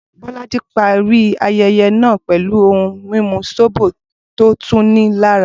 Bolaji parí ayẹyẹ náà pẹ̀lú ohun mímu zobo tó tuni lára.